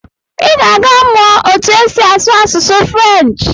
I ga-aga mụọ otu esi asụ asụsụ French.